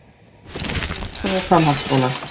Leikskólar, grunnskólar og framhaldsskólar.